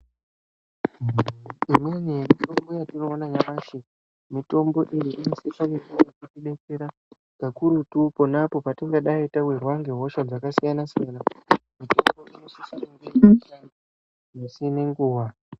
Imweni yemitombo yatinoona nyamashi mitombo ingadai yeitidetsera kakurutu panapo patingadai tawirwa ngehosha dzakasiyana-siyana..... misi nenguva.